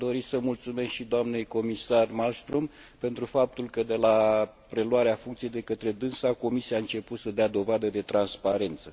Aș dori să mulțumesc și doamnei comisar Malmström pentru faptul că, de la preluarea funcției de către dânsa, Comisia a început să dea dovadă de transparență.